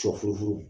Sɔfurufuru